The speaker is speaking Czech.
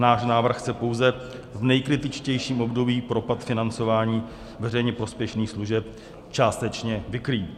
Náš návrh chce pouze v nejkritičtějším období propad financování veřejně prospěšných služeb částečně vykrýt.